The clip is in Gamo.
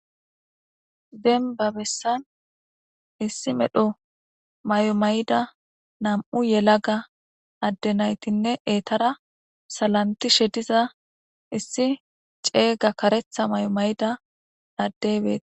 Denba bessan issi medho mayo mayida nam'u yelaga adde naytinne eetara salantishe diza issi ceega karetha mayo mayida addey bee....